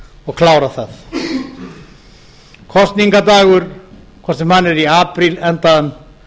og klára þau kosningadagur hvort sem hann er í apríl endaðan